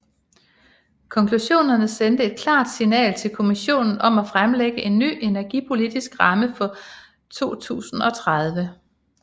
Konklusionerne sender et klart signal til Kommissionen om at fremlægge en ny energipolitisk ramme for 2030